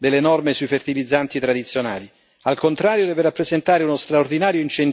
solo un'opportunità di armonizzazione a livello europeo delle norme sui fertilizzanti tradizionali